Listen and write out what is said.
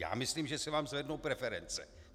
Já myslím, že se vám zvednou preference.